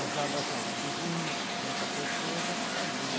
As alas eram de vinte, trinta pessoas, ela fazia.